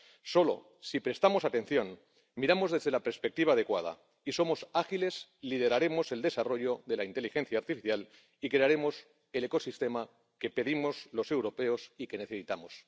Solo si prestamos atención, miramos desde la perspectiva adecuada y somos ágiles, lideraremos el desarrollo de la inteligencia artificial y crearemos el ecosistema que pedimos los europeos y que necesitamos.